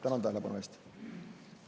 Tänan tähelepanu eest!